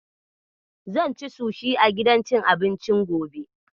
Zan ci sushi a gidan cin abincin gobe.